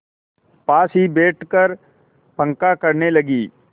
पास ही बैठकर पंखा करने लगी